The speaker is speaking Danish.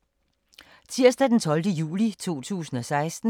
Tirsdag d. 12. juli 2016